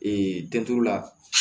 Ee la